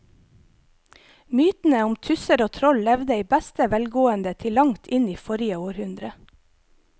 Mytene om tusser og troll levde i beste velgående til langt inn i forrige århundre.